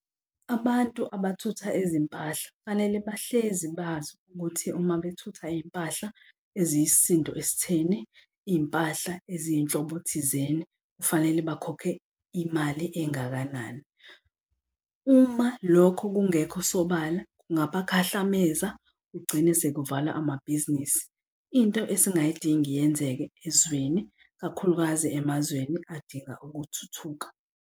Abantu abathutha ezimpahla fanele bahlezi bazi ukuthi uma bethutha iy'mpahla eziyisisindo esitheni, iy'mpahla eziyizinhlobo thizeni kufanele bakhokhe imali engakanani. Uma lokho kungekho sobala kungabakhahlameza kugcine sekuvalwa amabhizinisi. Into esingayidingi yenzeke ezweni, kakhulukazi emazweni adinga ukuthuthuka.